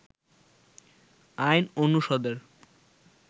আইন অনুষদের